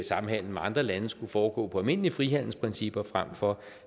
samhandel med andre lande skulle foregå på almindelige frihandelsprincipper frem for